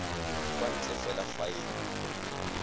kwa ntle fela fa e